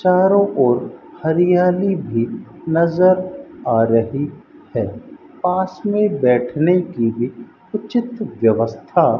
चारों ओर हरियाली भी नजर आ रही है पास में बैठने की भी उचित व्यवस्था--